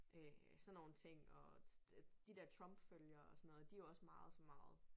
Øh sådan nogle ting og de der Trump følgere og sådan noget de jo også meget så meget